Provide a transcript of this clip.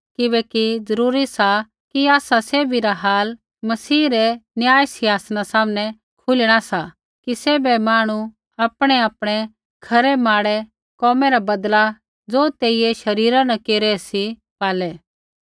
किबैकि जरूरी सा कि आसा सैभी रा हाल मसीह रै न्याय सिहांसना सामनै खुलिणा सा कि सैभे मांहणु आपणैआपणै खरै माड़े कोमै रा बदला ज़ो तेइयै शरीरा न केरी रै सी पालै